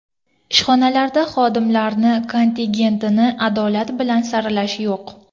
Ishxonalarda xodimlarni kontingentini adolat bilan saralash yo‘q.